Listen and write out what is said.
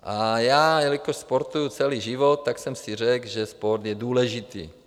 A já jelikož sportuji celý život, tak jsem si řekl, že sport je důležitý.